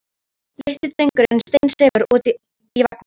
Litli drengurinn steinsefur úti í vagni.